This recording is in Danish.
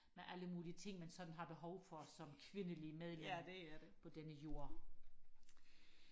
med alle mulige ting man sådan har behov for som kvindeligt medlem på denne jord